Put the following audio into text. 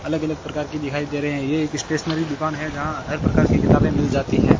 अलग अलग प्रकार की दिखाई दे रहे हैं ये एक स्टेशनरी दुकान है जहां हर प्रकार की किताबें मिल जाती हैं।